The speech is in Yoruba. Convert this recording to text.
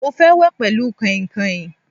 Mo fẹ́ wẹ̀ pẹlu kainkain